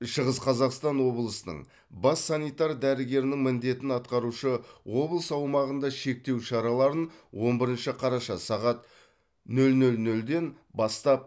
шығыс қазақстан облысының бас санитар дәрігерінің міндетін атқарушы облыс аумағында шектеу шараларын он бірінші қараша сағат нөл нөл нөлден бастап